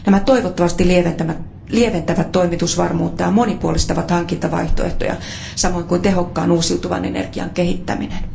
Nämä toivottavasti parantavat toimitusvarmuutta ja monipuolistavat hankintavaihtoehtoja, samoin kuin tehokkaan uusiutuvan energian kehittäminen.